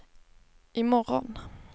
imorgon